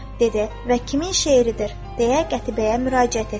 dedi və "Kimin şeiridir?" deyə Qətibəyə müraciət etdi.